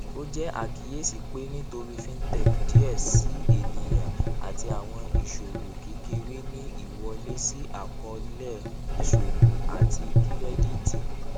ó jẹ àkíyèsí pé nítorí fintech díẹ síi ènìyàn àti àwọn ìṣòwò kékeré ní ìwọlé sí àkọọlẹ ìṣòwò àti kírẹdìtì